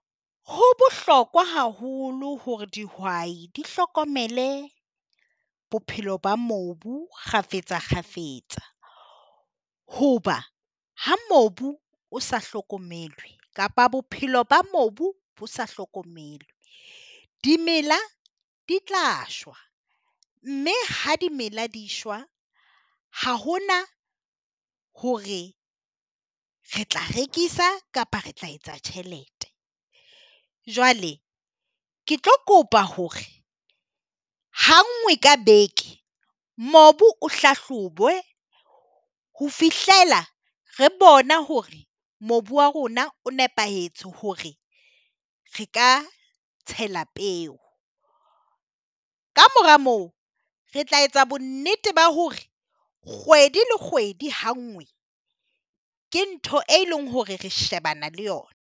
Ho bohlokwa haholo hore dihwai di hlokomele bophelo ba mobu kgafetsa kgafetsa, hoba ha mobu o sa hlokomelwe kapa bophelo ba mobu bo sa hlokomelwe di mela di tla shwa, mme ha di mela di shwa ha hona hore re tla rekisa kapa re tla etsa tjhelete. Jwale ke tlo kopa hore ha ngwe ka beke mobu o hlahlobuwe ho fihlela re bona hore mobu wa rona o nepahetse hore re ka tshela peo, kamora moo re tla etsa bonnete ba hore kgwedi le kgwedi ha nngwe ke ntho e leng hore re shebana le yona.